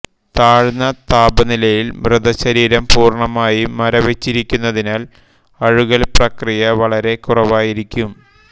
താഴ്ന്ന താപനിലയിൽ മൃതശരീരം പൂർണമായും മരവിച്ചിരിക്കുന്നതിനാൽ അഴുകൽ പ്രക്രിയ വളരെ കുറവായിരിക്കും